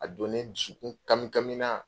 A don ne dusukun kami kami na.